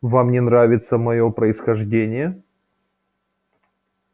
вам не нравится моё происхождение